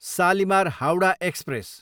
Shalimar, Howrah, express